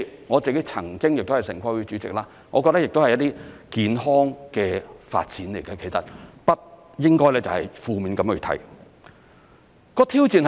我曾經是城規會主席，我覺得這亦是一些健康的發展，不應該負面地去看。